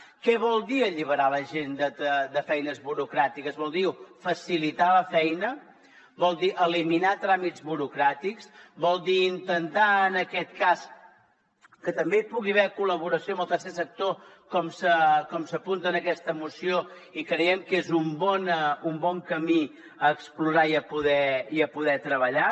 què vol dir alliberar la gent de feines burocràtiques vol dir facilitar la feina vol dir eliminar tràmits burocràtics vol dir intentar en aquest cas que també hi pugui haver col·laboració amb el tercer sector com s’apunta en aquesta moció i creiem que és un bon camí a explorar i a poder treballar